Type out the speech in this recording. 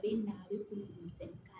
E ɲa bɛ kun sɛbɛn kan